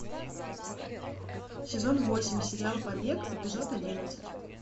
сезон восемь сериал побег эпизод одиннадцать